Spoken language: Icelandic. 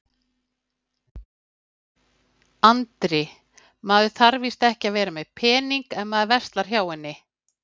Andri: Maður þarf víst ekki að vera með pening ef maður verslar hjá henni?